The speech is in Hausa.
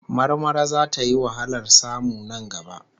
Marmara zata yi wahalar samu nan gaba